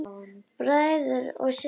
Bræður og systur!